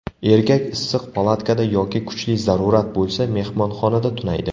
Erkak issiq palatkada yoki kuchli zarurat bo‘lsa, mehmonxonada tunaydi.